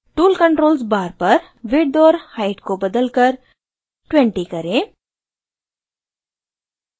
tool controls bar पर width और height को बदलकर 20 करें